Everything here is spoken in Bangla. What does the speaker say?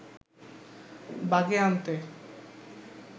বাগে আনতে